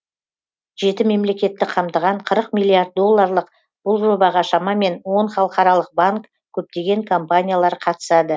жеті мемлекетті қамтыған қырық миллиард долларлық бұл жобаға шамамен он халықаралық банк көптеген компаниялар қатысады